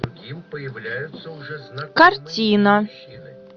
картина